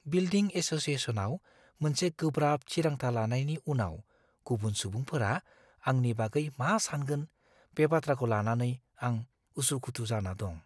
Building एस'सिएशनआव मोनसे गोब्राब थिरांथा लानायनि उनाव गुबुन सुबुंफोरा आंनि बागै मा सानगोन बे बाथ्राखौ लानानै आं उसुखुथु जाना दं।